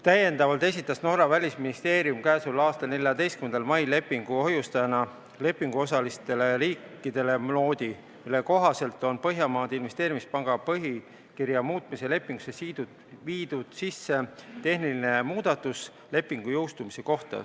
Täiendavalt esitas Norra välisministeerium lepingu hoiustajana k.a 14. mail lepinguosalistele riikidele noodi, mille kohaselt on Põhjamaade Investeerimispanga põhikirja muutmise lepingusse tehtud tehniline muudatus lepingu jõustumise kohta.